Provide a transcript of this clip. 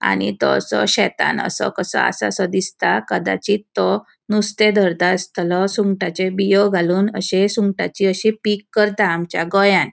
आणि तो शेतान असो कसो आसासों दिसता कदाचित तो नुस्ते धरता आस्तलों. सुंगटाचे बियों घालून अशी सुंगटाची अशी पिक करता आमच्या गोयान.